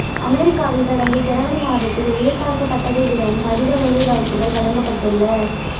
அமெரிக்காவில் கடந்த ஜனவரி மாதத்தில் எதிர்பாரக்கப்பட்டதை விடவும் அதிக வேலைவாய்ப்புகள் வழங்கப்பட்டுள்ள